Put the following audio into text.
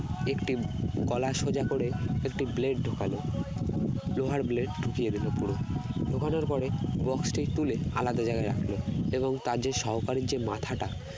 একটি গলা সোজা করে একটি blade ঢোকালো লোহার blade ঢুকিয়ে দিল পুরো, ঢোকানোর পরে box টি তুলে আলাদা জায়গায় রাখলো এবং তার যে সহকারীর যে মাথাটা